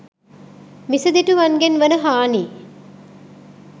මිසදිටුවන්ගෙන් වන හානි